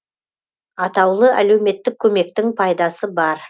атаулы әлеуметтік көмектің пайдасы бар